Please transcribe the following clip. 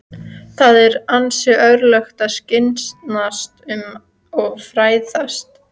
Það eru hans örlög að skyggnast um og fræðast.